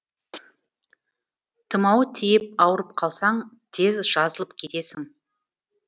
тұмау тиіп ауырып қалсаң тез жазылып кетесің